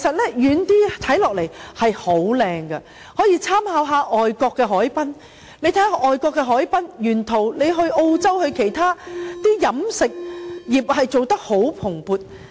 政府可以參考外國的海濱，且看看外國的海濱沿途，例如澳洲或其他地方的飲食業經營得相當蓬勃。